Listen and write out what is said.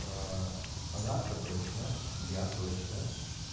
анархо точно я точно